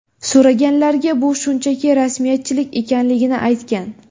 So‘raganlarga bu shunchaki rasmiyatchilik ekanligini aytgan.